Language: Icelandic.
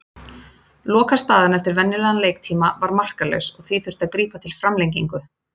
Lokastaðan eftir venjulegan leiktíma var marklaus og því þurfti að grípa til framlengingu.